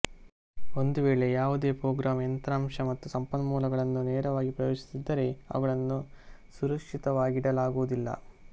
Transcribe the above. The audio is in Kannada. ಒಂದು ವೇಳೆ ಯಾವುದೇ ಪ್ರೋಗ್ರಾಂ ಯಂತ್ರಾಂಶ ಮತ್ತು ಸಂಪನ್ಮೂಲಗಳನ್ನು ನೇರವಾಗಿ ಪ್ರವೇಶಿಸುತ್ತಿದ್ದರೆ ಅವುಗಳನ್ನು ಸುರಕ್ಷಿತವಾಗಿಡಲಾಗುವುದಿಲ್ಲ